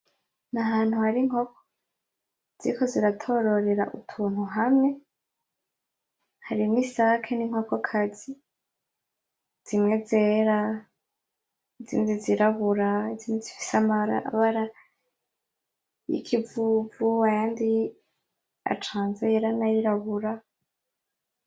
N’ahantu hari inkoko ziriko ziratororera utuntu hamwe , harimwo isake ninkoko kazi, zimwe zera, zindi zirabura, izindi zifise amabara yikivuvu, ayandi acanze yera nayirabura .